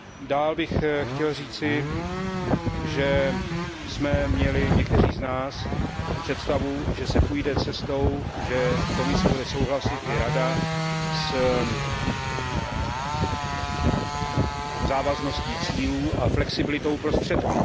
Dál bych chtěl říci, že jsme měli někteří z nás představu, že se půjde cestou, že Komise i Rada budou souhlasit se závazností cílů a flexibilitou prostředků.